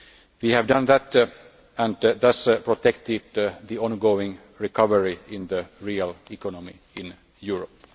We have done that and thus protected the ongoing recovery in the real economy in Europe.